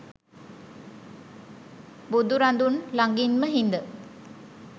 බුදුරදුන් ළඟින්ම හිඳ